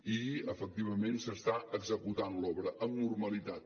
i efectivament s’està executant l’obra amb normalitat